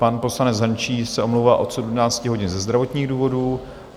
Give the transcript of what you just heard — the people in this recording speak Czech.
Pan poslanec Hrnčíř se omlouvá od 17 hodin ze zdravotních důvodů.